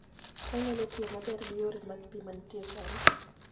Onyalo tiyo maber gi yore mag pi ma nitie sani.